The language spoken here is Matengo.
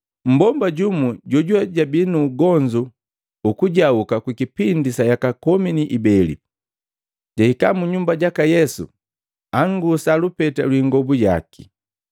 Mmbomba jumu jojuwe jabi nuugonzu ukujauka ku kipindi sa yaka komi ni ibeli, jahika munyuma jaka Yesu angusa lupeta lwi ingobu yaki.